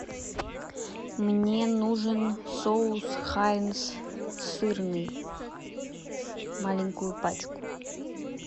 мне нужен соус хайнс сырный маленькую пачку